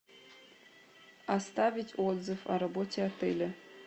оставить отзыв о работе отеля